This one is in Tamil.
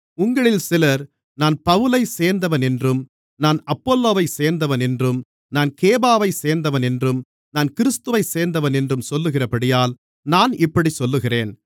உங்களில் சிலர் நான் பவுலைச் சேர்ந்தவனென்றும் நான் அப்பொல்லோவைச் சேர்ந்தவனென்றும் நான் கேபாவைச் சேர்ந்தவனென்றும் நான் கிறிஸ்துவைச் சேர்ந்தவனென்றும் சொல்லுகிறபடியால் நான் இப்படிச் சொல்லுகிறேன்